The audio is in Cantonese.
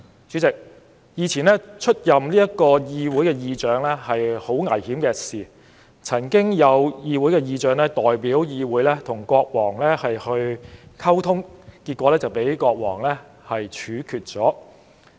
主席，以前出任議會議長是很危險的事，曾有議會議長代表議會與國王溝通後被國王處決。